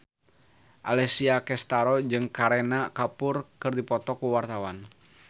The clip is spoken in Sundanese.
Alessia Cestaro jeung Kareena Kapoor keur dipoto ku wartawan